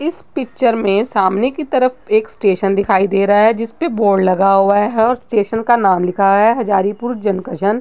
इस पिक्चर में सामने की तरफ एक स्टेशन दिखाई दे रहा है। जिस पे बोर्ड लगा हुआ है और स्टेशन का नाम लिखा है हाजारीपुर जंकशन ।